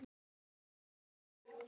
Úlfar Steinn.